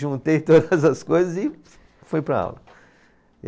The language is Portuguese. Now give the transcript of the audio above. Juntei todas as coisas e fui para a aula.